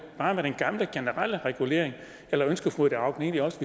bare den gamle generelle regulering eller ønsker fru ida auken egentlig også